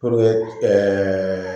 ɛɛ